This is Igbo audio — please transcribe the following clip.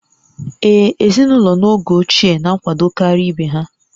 Ee, ezinụlọ n'oge ochie na-akwadokarị ibe ha